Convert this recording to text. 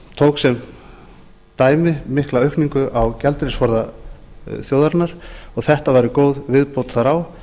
tók sem dæmi mikla aukningu á gjaldeyrisforða þjóðarinnar og þetta væri góð viðbót þar á